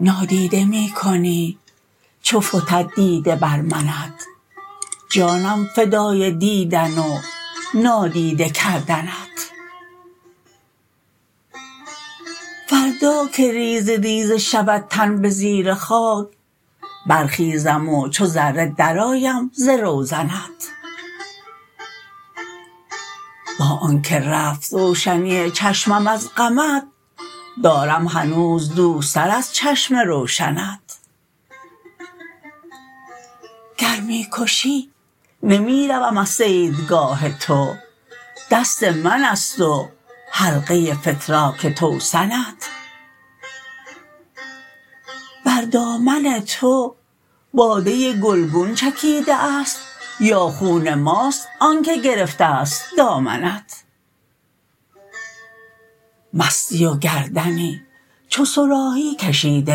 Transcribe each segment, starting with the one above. نا دیده میکنی چو فتد دیده بر منت جانم فدای دیدن و نادیده کردنت فردا که ریزه ریزه شود تن بزیر خاک برخیزم و چو ذره درآیم ز روزنت با آنکه رفت روشنی چشمم از غمت دارم هنوز دوست تر از چشم روشنت گر میکشی نمیروم از صید گاه تو دست منست و حلقه فتراک توسنت بر دامن تو باده گلگون چکیده است یا خون ماست آنکه گرفتست دامنت مستی و گردنی چو صراحی کشیده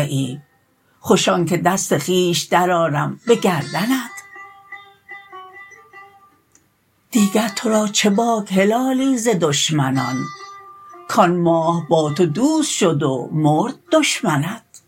ای خوش آنکه دست خویش در آرم بگردنت دیگر ترا چه باک هلالی ز دشمنان کان ماه با تو دوست شد و مرد دشمنت